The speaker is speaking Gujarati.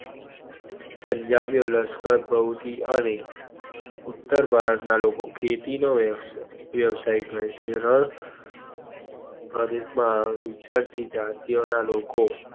પંજાબી ઓ લશ્કર પ્રવૃત્તિ ઓ અને ઉત્તર ભારત ના લોકો ખેતી નો વ્યવસાય કરે છે. રણ પદેશ માં વિચારતી જતી ઓ ના લોકો